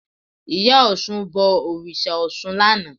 Ìyá Ọ̀ṣun bọ òrìṣà Ọ̀ṣun lánàá